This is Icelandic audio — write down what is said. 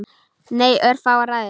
Nei, örfáar hræður.